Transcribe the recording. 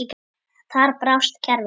Þar brást kerfið.